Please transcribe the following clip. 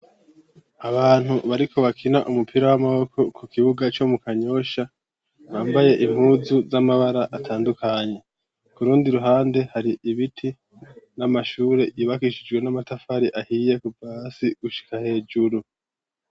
Abantu bariko bakina umupira w'amaboko ku kibuga co mu Kanyosha, bambaye impuzu z'amabara atandukanye. Ku rundi ruhande hari ibiti n'amashure yubakishijwe amatafari ahiye kuva hasi gushika hejuru.